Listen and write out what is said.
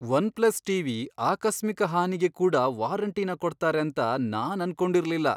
One plus TV ಆಕಸ್ಮಿಕ ಹಾನಿಗೆ ಕೂಡ ವಾರಂಟಿನ ಕೊಡ್ತಾರೆ ಅಂತ ನಾನ್ ಅನ್ಕೊಂಡಿರ್ಲಿಲ್ಲ.